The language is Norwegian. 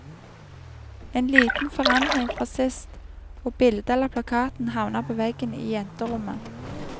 En liten forandring fra sist, og bildet eller plakaten havner på veggen i jenterommet.